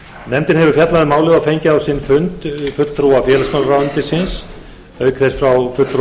nefndin hefur fjallað um málið og fengið á sinn fund fulltrúa félagsmálaráðuneytisins og auk þess fulltrúa frá